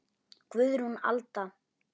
Guðrún Alda.